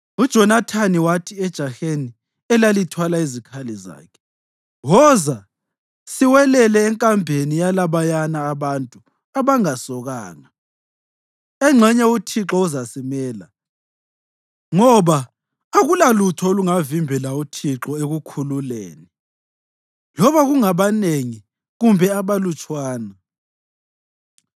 UJonathani wathi ejaheni elalithwala izikhali zakhe, “Woza, siwelele enkambeni yalabayana abantu abangasokanga. Engxenye uThixo uzasimela, ngoba akulalutho olungavimbela uThixo ekukhululeni, loba kungabanengi kumbe abalutshwana.”